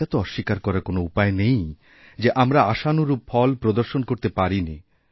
এটা তো অস্বীকারকরার কোনও উপায় নেই যে আমরা আশানুরূপ ফল প্রদর্শন করতে পারিনি